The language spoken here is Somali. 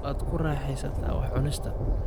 Waad ku raaxaysataa wax cunista